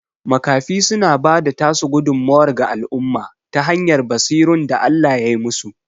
Makafi suna bada tasu gudummuwar ga al'umma ta hanyar basirun da Allah yai musu